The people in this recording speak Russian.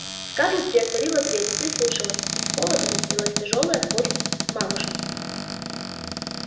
скарлетт приотворила дверь прислушалась из холла доносилась тяжёлая поступь мамушки